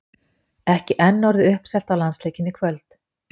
Ekki enn orðið uppselt á landsleikinn í kvöld?